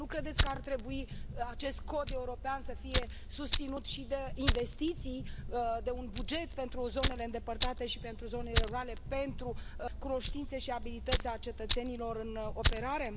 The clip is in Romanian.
Nu credeți că ar trebui ca acest cod european să fie susținut și de investiții, de un buget pentru zonele îndepărtate și pentru zonele rurale pentru cunoștințe și abilități ale cetățenilor în operare?